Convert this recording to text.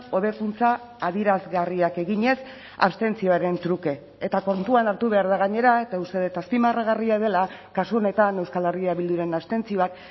hobekuntza adierazgarriak eginez abstentzioaren truke eta kontuan hartu behar da gainera eta uste dut azpimarragarria dela kasu honetan euskal herria bilduren abstentzioak